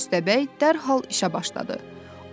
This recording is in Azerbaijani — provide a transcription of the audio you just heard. Köstəbəy dərhal işə başladı.